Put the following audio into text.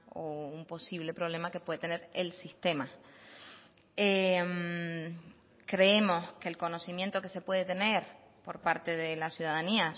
o un posible problema que puede tener el sistema creemos que el conocimiento que se puede tener por parte de la ciudadanía